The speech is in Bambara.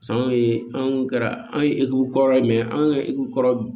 sanni an kɛra an ye egukɔrɔ ye an ka kɔrɔ